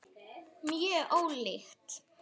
Mjög ólík.